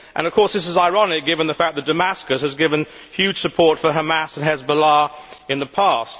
Of course, this is ironic given the fact that Damascus has given huge support to Hamas and Hezbollah in the past.